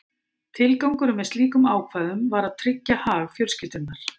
Tilgangurinn með slíkum ákvæðum var að tryggja hag fjölskyldunnar.